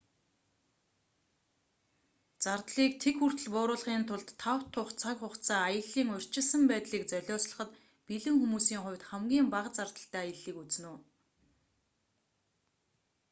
зардлыг тэг хүртэл бууруулахын тулд тав тух цаг хугацаа аяллын урьдчилсан байдлыг золиослоход бэлэн хүмүүсийн хувьд хамгийн бага зардалтай аяллыг үзнэ үү